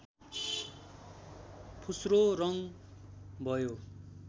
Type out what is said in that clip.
फुस्रो रङ्ग भयो